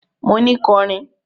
Mo ni kọrin!